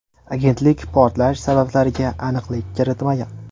Agentlik portlash sabablariga aniqlik kiritmagan.